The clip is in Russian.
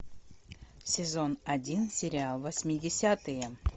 сезон один сериал восьмидесятые